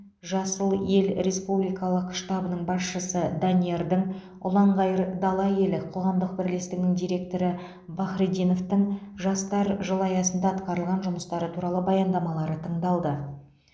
жасыл ел республикалық штабының басшысы даниярдың ұланғайыр дала елі қоғамдық бірлестігінің директоры бахретдиновтың жастар жылы аясында атқарылған жұмыстары туралы баяндамалары тыңдалды